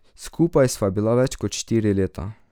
Skupaj sva bila več kot štiri leta.